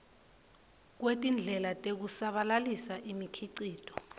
kwetindlela tekusabalalisa imikhicito